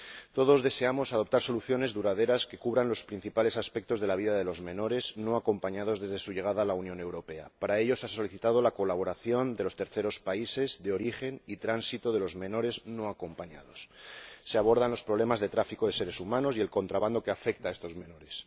Todos deseamos adoptar soluciones duraderas que cubran los principales aspectos de la vida de los menores no acompañados desde su llegada a la Unión Europea. Para ello se ha solicitado la colaboración de los terceros países de origen y tránsito de los menores no acompañados. Se abordan los problemas de tráfico de seres humanos y el contrabando que afecta a estos menores.